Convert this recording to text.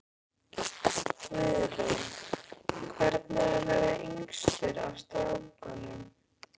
Guðrún: Hvernig er að vera yngstur af strákunum?